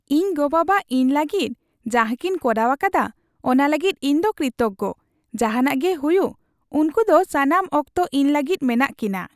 ᱤᱧ ᱜᱚᱼᱵᱟᱵᱟ ᱤᱧ ᱞᱟᱹᱜᱤᱫ ᱡᱟᱦᱟ ᱠᱤᱱ ᱠᱚᱨᱟᱣ ᱟᱠᱟᱫᱟ ᱚᱱᱟ ᱞᱟᱹᱜᱤᱫ ᱤᱧ ᱫᱚ ᱠᱨᱤᱛᱚᱜᱜᱚ ᱾ ᱡᱟᱦᱟᱱᱟᱜ ᱜᱮ ᱦᱩᱭᱩᱜ ᱩᱝᱠᱩ ᱫᱚ ᱥᱟᱱᱟᱢ ᱚᱠᱛᱚ ᱤᱧ ᱞᱟᱹᱜᱤᱫ ᱢᱮᱱᱟᱜ ᱠᱤᱱᱟ ᱾